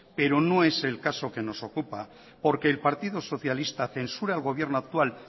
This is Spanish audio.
pero no es el caso que nos ocupa porque el partido socialista censura el gobierno actual